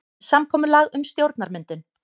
Samkomulag um stjórnarmyndun